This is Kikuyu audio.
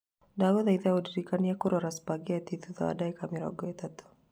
Ndagũthaitha ũndirikanie kwĩrora spaghetti thutha wa ndagĩka mĩrongo ĩtatũ